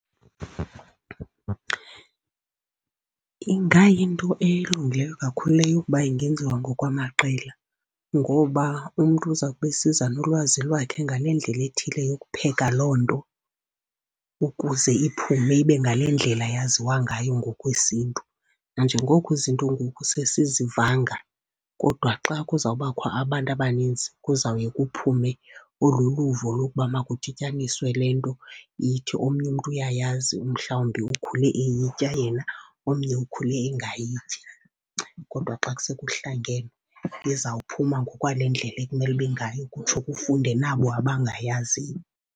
Ingayinto elungileyo kakhulu leyo ukuba ingenziwa ngokwamaqela ngoba umntu uza kube esiza nolwazi lwakhe ngale ndlela ethile yokupheka loo nto, ukuze iphume ibe ngale ndlela yaziwa ngayo ngokwesiNtu. Nanjengoko izinto ngoku sesizivanga, kodwa xa kuza kubakho abantu abaninzi kuza kuye kuphume olu luvo lokuba makudityaniswe le nto ithi omnye umntu uyayazi, mhlawumbi ukhule eyitya yena, omnye ukhule engayityi. Kodwa xa sekuhlangene, izawuphuma ngokwale ndlela ekumele ibe ngayo, kutsho kufunde nabo abangayaziyo.